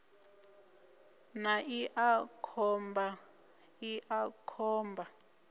na iḽa khomba iḽa khomba